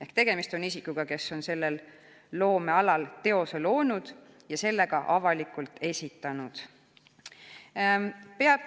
Ehk tegemist on isikuga, kes on sellel loomealal teose loonud ja selle ka avalikult esitanud.